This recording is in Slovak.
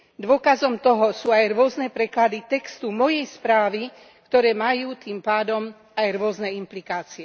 Dôkazom toho sú aj rôzne preklady textu mojej správy, ktoré majú tým pádom aj rôzne implikácie.